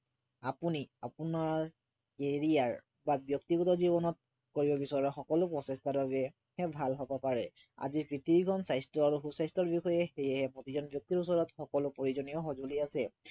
আপুনি আপোনাৰ area ৰ বা ব্য়ক্তিগত জীৱনত কৰিব বিচৰা সকলো প্ৰচেষ্টাৰ বাবে ভাল হব পাৰে আজি স্বাস্থ্য় আৰু সু স্বাস্থ্য়ৰ বিষয়ে সেয়ে প্ৰতিজন ব্য়ক্তিৰ ওচৰত সকলো প্ৰয়োজনীয় সঁজুলি আছে